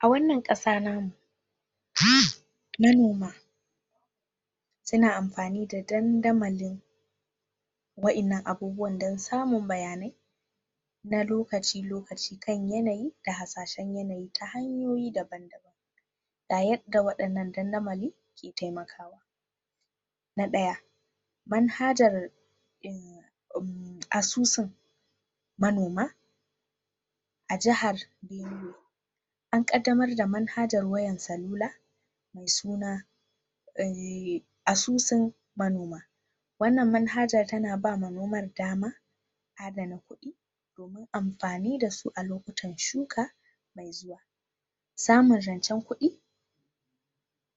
A wannan ƙasa namu manoma su na amfani da dandamalin wayannan abubuwan dan samun bayanai na lokaci-lokaci kan yanayi da harsashan yanayi ta hanyoyi daban-daban ga yanda wayannan dandamalin ke taimakawa na ɗaya manhajar asusun manoma a jahar benue an ƙadamar da manhajar wayan sallula me suna ausun manoma wannan manhajar tana bawa manomar damar a dana kuɗi domin amfani dasu a lokutan shuka me zuwa samun zancen kuɗi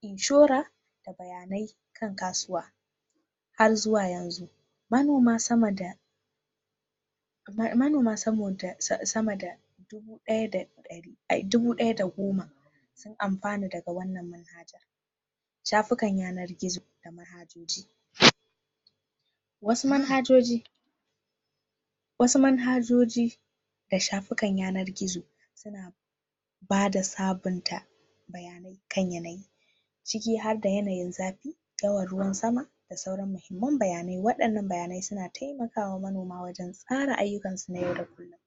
inshora da bayanai kan kasuwa har zuwa yanzu manoma sama da manoma sama da dubu ɗaya da goma sun amfana daga wanan manhajar shafukar yanar gizo da manhajoji wasu manhajoji wasu manhajoji da shafukar yanar gizo suna bada sabunta bayanai kan yanayi ciki harda yanayin zafi daura ruwan sama da sauran muhimmun bayanai, wadannnan bayanai suna taimakawa wa manoma wajan tsara ayyukansu na yau da kullum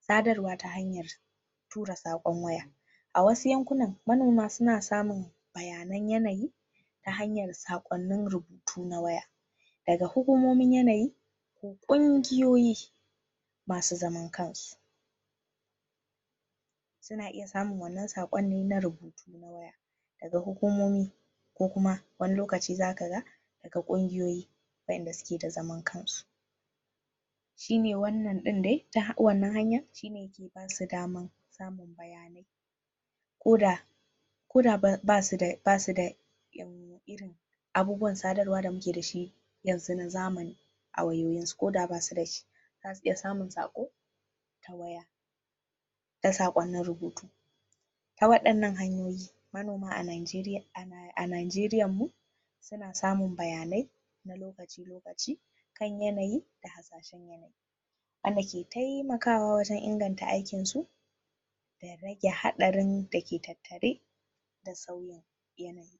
sadarwa ta hanyar tura sakon waya wasu yankunan manoma suna samun bayanan yanayi ta hanyar sakwanin rubutu na waya daga hugumomin yanayi ko ƙungiyoyyi masu zaman kansu suna iya samun wannan saƙon ne na rubutu na waya ga hukumomi ko kuma wani lokaci za ka ga daga ƙungiyoyyi wayanda suke da zaman kansu shine wannan ɗin de, ta wannan hanyar shine yake basu daman samun bayanai ko da koda ba su da irin abubuwar sadarwa da muke dashi yanzu na zamani a waywayinsu ko da basuda shi zasu iya samun saƙo ta waya da saƙonin rubutu ta wadannan hanyoyi manoma a najeriya a najeriyanmu suna samun bayanai na lokaci-lokaci kan yanayi da harsashen yanayi wanda ke taimakawa wajan inganta aikinsu da rage haɗarin da ke tattare da sauyin yanayi.